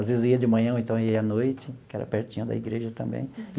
Às vezes, eu ia de manhã, ou então ia à noite, porque era pertinho da igreja também.